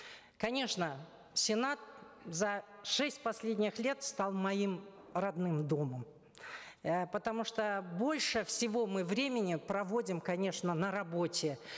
конечно сенат за шесть последних лет стал моим родным домом э потому что больше всего мы времени проводим конечно на работе